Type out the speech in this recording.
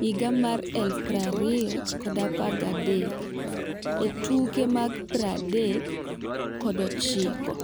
2013 e tuke 39.